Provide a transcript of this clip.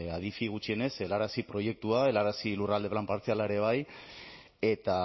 adifi gutxienez helarazi proiektua helarazi lurralde plan partziala ere bai eta